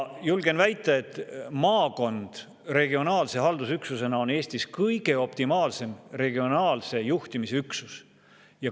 Julgen väita, et maakond regionaalse haldusüksusena on Eestis optimaalne regionaalse juhtimise üksus.